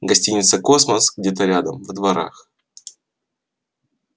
гостиница космос где-то рядом во дворах